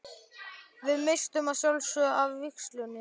Við misstum að sjálfsögðu af vígslunni.